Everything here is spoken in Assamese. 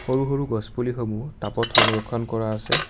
সৰু সৰু গছপুলিসমূহ টাবত সংৰক্ষণ কৰা আছে।